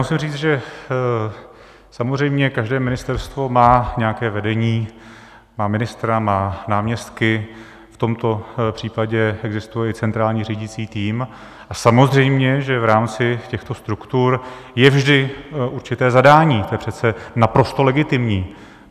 Musím říct, že samozřejmě každé ministerstvo má nějaké vedení, má ministra, má náměstky, v tomto případě existuje i centrální řídící tým, a samozřejmě že v rámci těchto struktur je vždy určité zadání, to je přece naprosto legitimní.